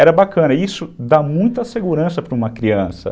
Era bacana e isso dá muita segurança para uma criança.